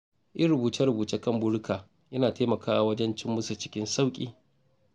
Yin rubuce-rubuce kan burika yana taimakawa wajen cimma su cikin sauƙi.